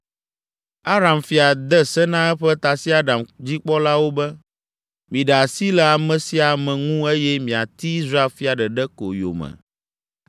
Aram fia de se na eƒe tasiaɖamdzikpɔlawo be, “Miɖe asi le ame sia ame ŋu eye miati Israel fia ɖeɖe ko yome!”